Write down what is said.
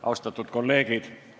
Austatud kolleegid!